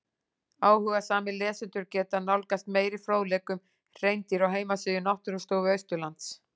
Áhugasamir lesendur geta nálgast meiri fróðleik um hreindýr á heimasíðu Náttúrustofu Austurlands.